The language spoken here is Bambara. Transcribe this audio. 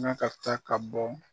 N ka taa ka bɔ